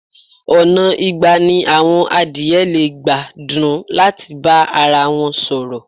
Ọ̀nà igba ni àwọn adìẹ lè gba dún láti bá arawọn sọ̀rọ̀.